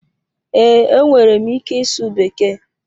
Ee, enwere m ike ịsụ bekee